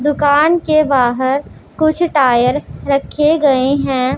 दुकान के बाहर कुछ टायर रखे गए हैं।